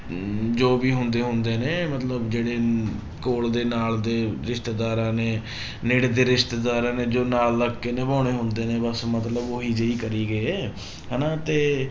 ਅਮ ਜੋ ਵੀ ਹੁੰਦੇ ਹੁੰਦੇ ਨੇ ਮਤਲਬ ਜਿਹੜੇ ਅਮ ਕੋਲ ਦੇ ਨਾਲ ਦੇ ਰਿਸ਼ਤੇਦਾਰਾਂ ਨੇ ਨੇੜੇ ਦੇ ਰਿਸ਼ਤੇਦਾਰਾਂ ਨੇ ਜੋ ਨਾਲ ਲੱਗ ਕੇ ਨਿਭਾਉਣੇ ਹੁੰਦੇ ਨੇ ਬਸ ਮਤਲਬ ਉਹੀ ਜਿਹੀ ਕਰੀ ਗਏ ਹਨਾ ਤੇ